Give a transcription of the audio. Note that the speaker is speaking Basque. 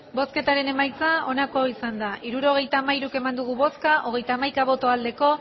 hirurogeita hamairu eman dugu bozka hogeita hamaika bai